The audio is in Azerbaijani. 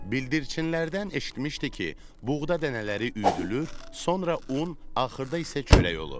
Bildirçinlərdən eşitmişdi ki, buğda dənələri üyüdülür, sonra un, axırda isə çörək olur.